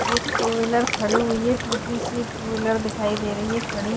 एक two wheeler खड़ी हुई है टूटी सी एक टू व्हीलर दिखाई दे रही है खड़ी ।